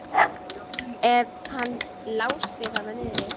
Er hann Lási þarna niðri?